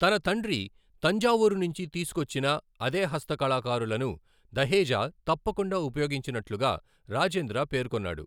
తన తండ్రి తంజావూర్ నుంచి తీసుకొచ్చిన అదే హస్త కళాకారులను దహేజా తప్పకుండా ఉపయోగించినట్లుగా రాజేంద్ర పేర్కొన్నాడు.